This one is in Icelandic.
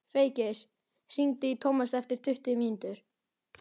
Feykir, hringdu í Tómas eftir tuttugu mínútur.